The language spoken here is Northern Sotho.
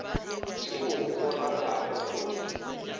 tšeo o ratago go di